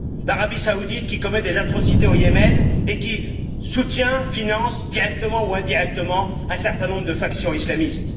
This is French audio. L'Arabie saoudite, qui commet des atrocités au Yémen et qui soutient et finance, directement ou indirectement, un certain nombre de factions islamistes.